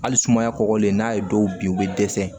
Hali sumaya kɔgɔlen n'a ye dɔw bin u bɛ dɛsɛ